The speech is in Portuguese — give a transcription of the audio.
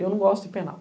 Eu não gosto de penal.